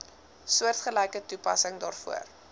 soortgelyke toepassing daarvoor